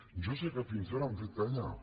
jo sé que fins ara han fet callar